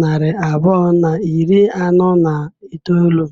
narị abụọ na iri anọ na itoolu.